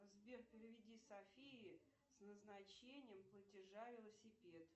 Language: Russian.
сбер переведи софии с назначением платежа велосипед